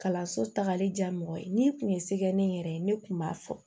Kalanso tagali ja mɔgɔ ye n'i kun ye se kɛ ne yɛrɛ ye ne tun b'a fɔ